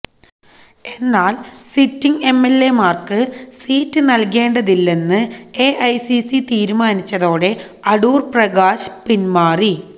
എന്നാല് sitting M L എമാര്ക്ക് seat നല്കേണ്ടതില്ലെന്ന് എ ഐ സി സി തീരുമാനിച്ചതോടെ അടൂര് പ്രകാശ് പിന്മാറി